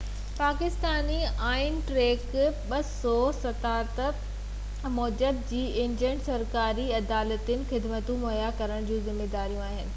پاڪستاني آئين جي آرٽيڪل 247 موجب اهي ايجنٽ سرڪاري ۽ عدالتي خدمتون مهيا ڪرڻ جا ذميوار آهن